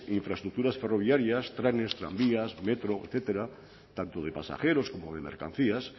infraestructuras ferroviarias trenes tranvías metro etcétera tanto de pasajeros como de mercancías